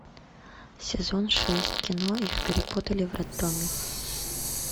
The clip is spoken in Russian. сезон шесть кино их перепутали в роддоме